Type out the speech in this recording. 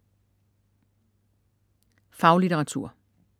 Faglitteratur